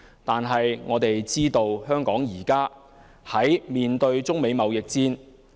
不過，我們知道香港現正面對中美貿易戰。